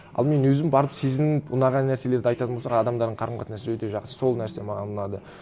ал мен өзім барып сезініп ұнаған нәрселерді айтатын болсақ адамдардың қарым қатынасы өте жақсы сол нәрсе маған ұнады